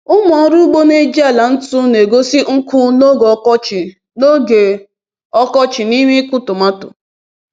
“Ụmụ ọrụ ugbo na-eji ala ntu na-egosi nkụ n’oge ọkọchị n’oge ọkọchị n’ime ịkụ tomatọ.”